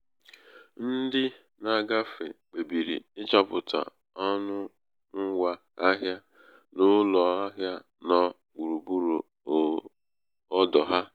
ndị um na-agafe kpebiri ịchọpụta ọnụ ngwa um ahịa n'ụlọ um ahịa nọ gburugburu ọdọ ahịa.